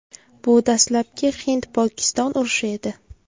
Bu dastlabki Hind-Pokiston urushi edi.